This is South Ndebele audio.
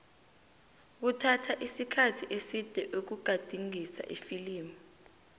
kuthatha isikhathi eside ukugadingisa ifilimu